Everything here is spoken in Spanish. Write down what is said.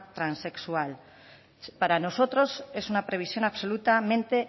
transexual para nosotros es una previsión absolutamente